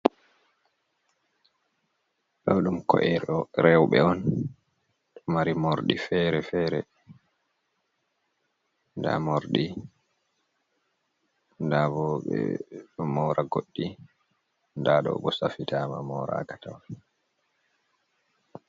Ɗo ɗum ko’e rewbe on, ɗo mari morɗi fere fere, nɗa mordi, nɗa ɓo ɓeɗo mora goɗɗi, nɗa ɗo ɓo safi tama mora ka tawon.